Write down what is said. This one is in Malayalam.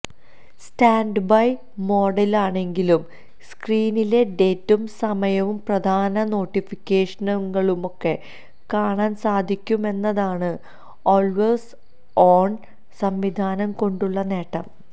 സ്റ്റാന്ഡ്ബൈ മോഡിലാണെങ്കിലും സ്ക്രീനിലെ ഡേറ്റും സമയവും പ്രധാന നോട്ടിഫിക്കേഷനുകളുമൊക്കെ കാണാന് സാധിക്കുമെന്നതാണ് ഓള്വേസ് ഓണ് സംവിധാനം കൊണ്ടുള്ള നേട്ടം